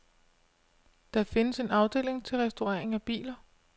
Der findes en afdeling til restaurering af biler.